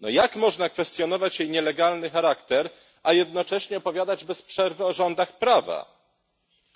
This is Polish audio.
No jak można kwestionować jej nielegalny charakter, a jednocześnie opowiadać bez przerwy o rządach prawa?